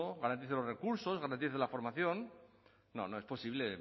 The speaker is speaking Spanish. garantice los recursos garantice la formación no no es posible